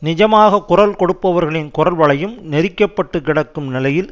நிஜமாக குரல் கொடுப்பவர்களின் குரல் வளையும் நெறிக்கப்பட்டு கிடக்கும் நிலையில்